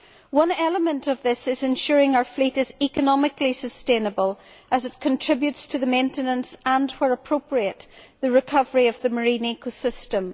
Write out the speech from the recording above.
One element of this is ensuring that our fleet is economically sustainable as it contributes to the maintenance and, where appropriate, the recovery of the marine ecosystem.